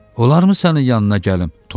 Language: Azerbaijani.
Onlar mı sənin yanına gəlim?